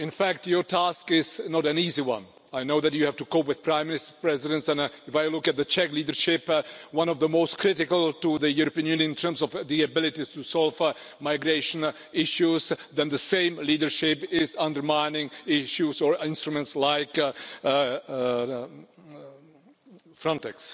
In fact your task is not an easy one. I know that you have to cope with Prime Ministers, Presidents, and if I look at the Czech leadership, one of the most critical to the European Union in terms of the abilities to solve migration issues, then the same leadership is undermining issues or instruments such as Frontex.